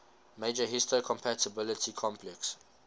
major histocompatibility complex